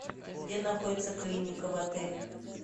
где находится клиника в отеле